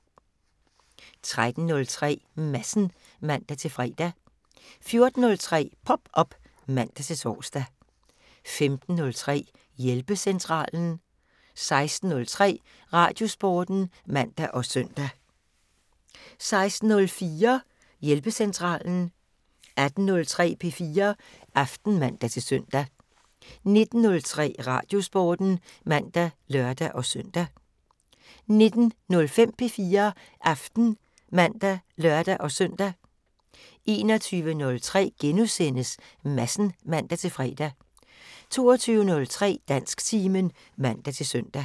13:03: Madsen (man-fre) 14:03: Pop op (man-tor) 15:03: Hjælpecentralen 16:03: Radiosporten (man og søn) 16:04: Hjælpecentralen 18:03: P4 Aften (man-søn) 19:03: Radiosporten (man og lør-søn) 19:05: P4 Aften (man og lør-søn) 21:03: Madsen *(man-fre) 22:03: Dansktimen (man-søn)